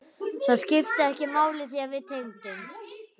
Það skipti ekki máli því að við tengdumst.